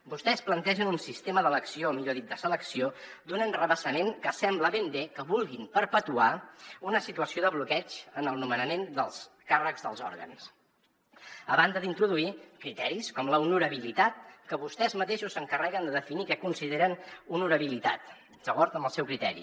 vostès plantegen un sistema d’elecció millor dit de selecció d’un enrevessament que sembla ben bé que vulguin perpetuar una situació de bloqueig en el nomenament dels càrrecs dels òrgans a banda d’introduir hi criteris com l’honorabilitat que vostès mateixos s’encarreguen de definir què consideren honorabilitat d’acord amb el seu criteri